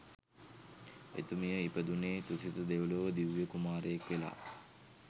එතුමිය ඉපදුනේ තුසිත දෙව්ලොව දිව්‍ය කුමාරයෙක් වෙලා